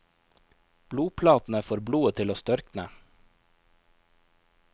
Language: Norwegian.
Blodplatene får blodet til å størkne.